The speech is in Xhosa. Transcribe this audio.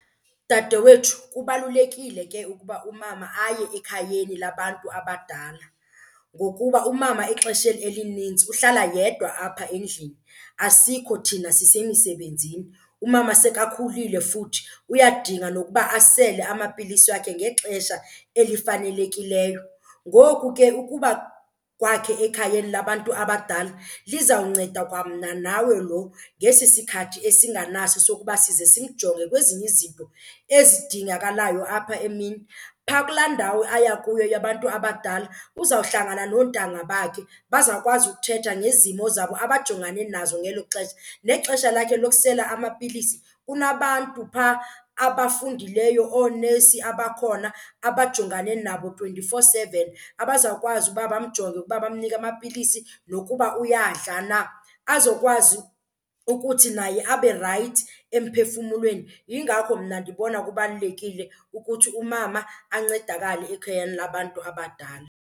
Dade wethu, kubalulekile ke ukuba umama aye ekhayeni labantu abadala ngokuba umama exesheni elinintsi uhlala yedwa apha endlini asikho thina sisemisebenzini. Umama sekakhulile futhi uyadinga nokuba asele amapilisi wakhe ngexesha elifanelekileyo. Ngoku ke ukuba kwakhe ekhayeni labantu abadala lizawunceda kwamna nawe lo ngesi sikhathi esinganaso sokuba size simjonge kwezinye izinto ezidingakalayo apha emini. Phaa kulaa ndawo aya kuyo yabantu abadala uzawuhlangana noontanga bakhe bazawukwazi ukuthetha ngezimo zabo abajongane nazo ngelo xesha. Nexesha lakhe lokusela amapilisi kunabantu phaa abafundileyo oonesi abakhona abajongane nabo twenty-four seven, abazawukwazi ukuba bamjonge ukuba bamnike amapilisi nokuba uyadla na, azokwazi ukuthi naye aberayithi emphefumlweni. Yingakho mna ndibona kubalulekile ukuthi umama ancedakale ekhayeni labantu abadala.